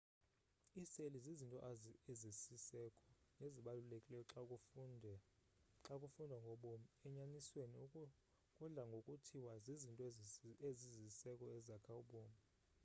iiseli zizinto ezisiseko nezibalulekileyo xa kufundwa ngobomi enyanisweni kudla ngokuthiwa zizinto ezisisiseko ezakha ubomi